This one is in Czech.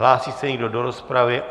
Hlásí se někdo do rozpravy?